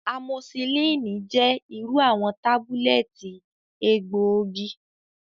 Amosillini jẹ iru awọn tabulẹti egboogi.